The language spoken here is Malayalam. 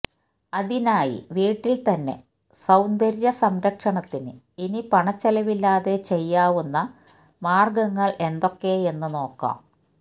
അതിനായി വീട്ടില് തന്നെ സൌന്ദര്യസംരക്ഷണത്തിന് ഇനി പണച്ചിലവില്ലാതെ ചെയ്യാവുന്ന മാര്ഗ്ഗങ്ങള് എന്തൊക്കെയെന്ന് നോക്കാം